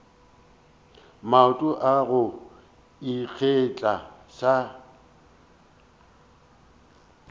maoto a go ikgetha sa